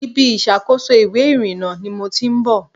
Ibi ìṣàkóso ìwé ìrìnnà ni mo ti ń bọ̀.